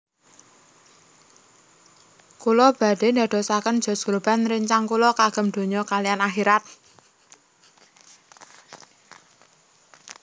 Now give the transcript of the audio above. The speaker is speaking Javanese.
Kula badhe ndadosaken Josh Groban rencang kula kagem donya kaliyan akhirat